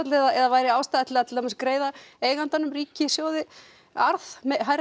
eða væri ástæða til að til að greiða eiganda sínum ríkissjóði hærri